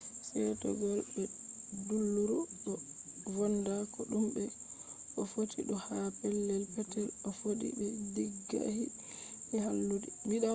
seetegol be dulluru do vonna ko dume ko fotti fu ha pelel petel to a foodi be diggali halludi